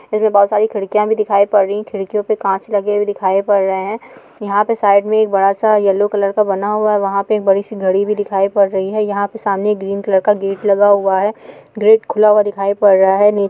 इनमे बहुत सारी खिड़किया भी दिखाई पड रही है खिड़कियों पे कांच लगे हुए दिखाई पड रहे है यहाँ पे साइड में एक बड़ा सा येल्लो कलर का बना हुआ है वहा पे एक बड़ी सी घडी भी दिखाई पड रही है यहाँ पे सामने एक ग्रीन कलर का गेट लगा हुआ है गेट खुला हुआ दिखाई पड रहा है नी--